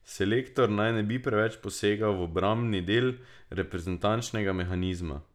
Selektor naj ne bi preveč posegal v obrambni del reprezentančnega mehanizma.